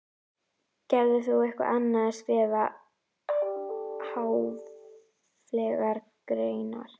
Gerir þú eitthvað annað en skrifa háfleygar greinar?